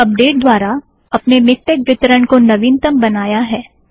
हमने अपडेट द्वारा अपने मिक्टेक वितरण को नवीनतम बनाया है